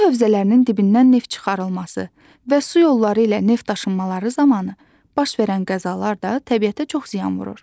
Su hövzələrinin dibindən neft çıxarılması və su yolları ilə neft daşınmaları zamanı baş verən qəzalar da təbiətə çox ziyan vurur.